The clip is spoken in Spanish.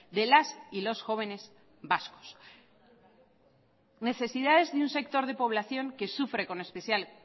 de las y los jóvenes vascos necesidades de un sector de población que sufre con especial